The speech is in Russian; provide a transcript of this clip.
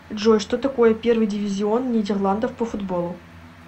джой что такое первый дивизион нидерландов по футболу